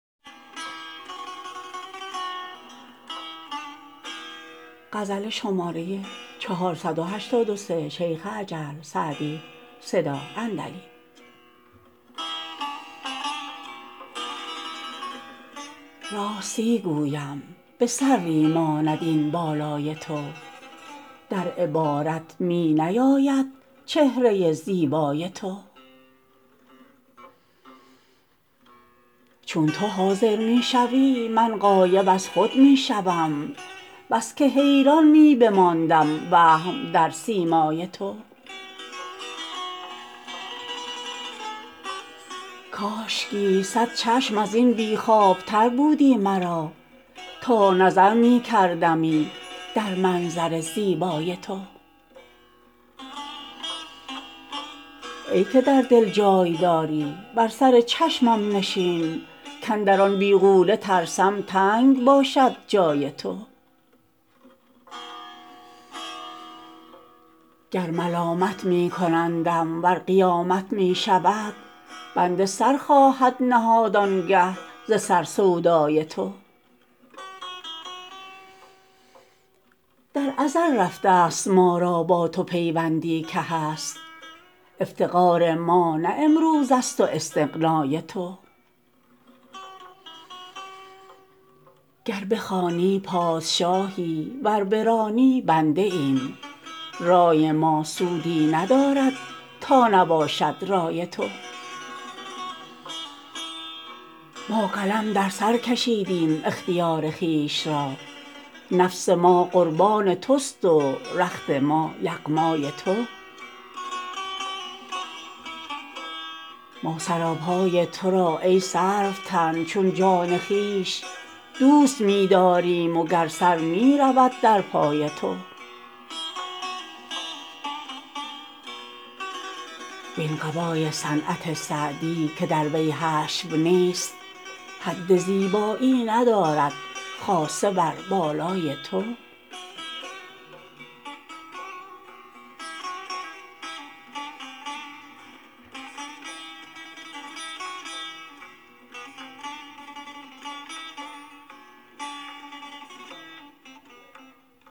راستی گویم به سروی ماند این بالای تو در عبارت می نیاید چهره زیبای تو چون تو حاضر می شوی من غایب از خود می شوم بس که حیران می بماندم وهم در سیمای تو کاشکی صد چشم از این بی خوابتر بودی مرا تا نظر می کردمی در منظر زیبای تو ای که در دل جای داری بر سر چشمم نشین کاندر آن بیغوله ترسم تنگ باشد جای تو گر ملامت می کنندم ور قیامت می شود بنده سر خواهد نهاد آن گه ز سر سودای تو در ازل رفته ست ما را با تو پیوندی که هست افتقار ما نه امروز است و استغنای تو گر بخوانی پادشاهی ور برانی بنده ایم رای ما سودی ندارد تا نباشد رای تو ما قلم در سر کشیدیم اختیار خویش را نفس ما قربان توست و رخت ما یغمای تو ما سراپای تو را ای سروتن چون جان خویش دوست می داریم و گر سر می رود در پای تو وین قبای صنعت سعدی که در وی حشو نیست حد زیبایی ندارد خاصه بر بالای تو